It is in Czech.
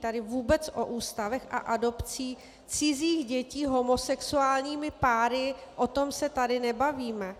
Tady vůbec o ústavech a adopci cizích dětí homosexuálními páry - o tom se tady nebavíme.